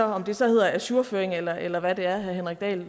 om det så hedder ajourføring eller eller hvad det er herre henrik dahl